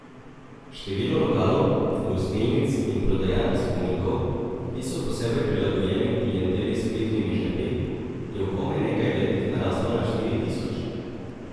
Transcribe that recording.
Število lokalov, gostilnic in prodajaln spominkov, ki so posebej prilagojeni klienteli s plitvimi žepi, je v komaj nekaj letih naraslo na štiri tisoč.